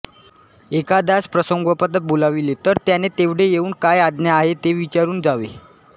एखाद्यास प्रसंगोपात बोलाविले तर त्याने तेवढे येऊन काय आज्ञा आहे ते विचारून जावे